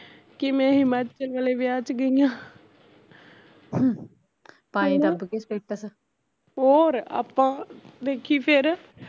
ਕਿਵੇਂ ਹਿਮਾਚਲ ਵਾਲੇ ਵਿਆਹ ਚ ਗਈਆ ਹੋਰ ਆਪਾ ਦੇਖੀ ਫਿਰ